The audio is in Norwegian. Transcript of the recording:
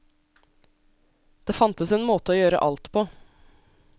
Det fantes en måte å gjøre alt på.